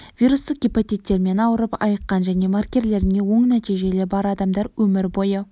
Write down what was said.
вирустық гепатиттермен ауырып айыққан және маркерлеріне оң нәтижелері бар адамдар өмір бойы